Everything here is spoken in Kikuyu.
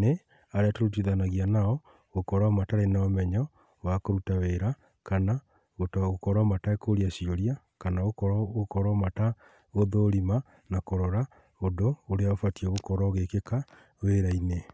nĩ arĩa tũrutithanagia nao gũkorwo matarĩ na ũmenyo wa kũruta wĩra kana gũkorwo matekũria ciũria, kana gũkorwo matagũthũrima ũndũ ũria ũbatiĩ gũkorwo ũgĩkĩka wĩra-inĩ.